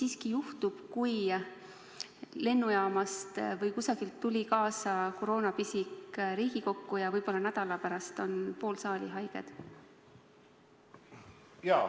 Mis juhtub, kui lennujaamast või kusagilt mujalt tuli nüüd Riigikokku kaasa koroonapisik ja võib-olla nädala pärast on pool saali haige?